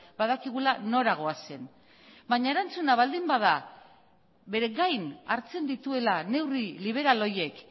badakigula nora goazen baina erantzuna baldin bada bere gain hartzen dituela neurri liberal horiek